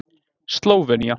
Slóvenía